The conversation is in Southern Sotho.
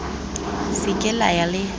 se ke la ya le